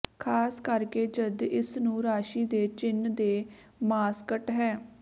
ਖ਼ਾਸ ਕਰਕੇ ਜਦ ਇਸ ਨੂੰ ਰਾਸ਼ੀ ਦੇ ਚਿੰਨ੍ਹ ਦੇ ਮਾਸਕਟ ਹੈ